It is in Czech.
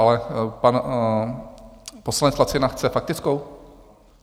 Ale pan poslanec Lacina chce faktickou?